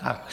Tak.